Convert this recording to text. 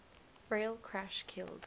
rail crash killed